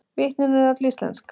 Vitnin eru öll íslensk